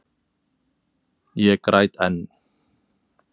Ég græt enn.